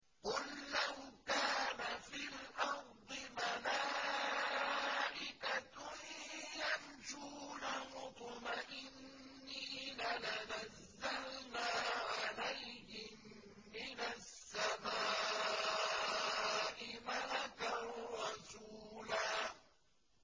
قُل لَّوْ كَانَ فِي الْأَرْضِ مَلَائِكَةٌ يَمْشُونَ مُطْمَئِنِّينَ لَنَزَّلْنَا عَلَيْهِم مِّنَ السَّمَاءِ مَلَكًا رَّسُولًا